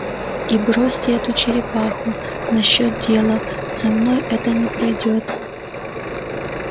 и бросьте эту черепаху насчёт дела со мной это не пройдёт